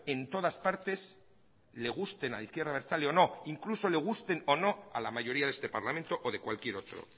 en todas partes le gusten a la izquierda abertzale o no incluso le gusten o no a la mayoría de este parlamento o de cualquier otro